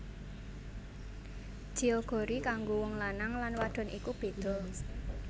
Jeogori kanggo wong lanang lan wadon iku beda